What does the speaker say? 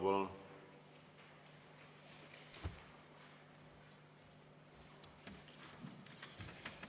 Palun!